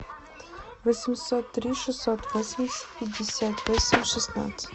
восемьсот три шестьсот восемьдесят пятьдесят восемь шестнадцать